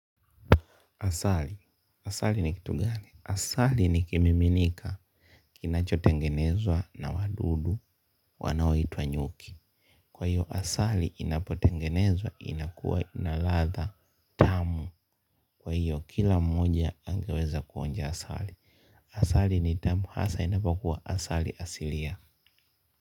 Asali, asali ni kitu gani? Asali ni kimiminika kinachotengenezwa na wadudu wanaoitwa nyuki. Kwa hiyo asali inapotengenezwa inakuwa ina ladha. Kwa hiyo kila mmoja angeweza kuonja asali. Asali ni tamu hasa inapokuwa asali asilia.